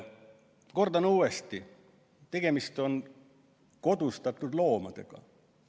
Kordan uuesti: tegemist on kodustatud loomadega.